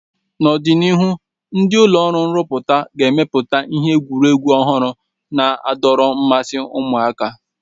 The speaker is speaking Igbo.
N'ọdịnihu, ndi ụlọ ọrụ nruputa ga-emepụta ihe egwuregwu ọhụrụ na-adọrọ mmasi ụmụaka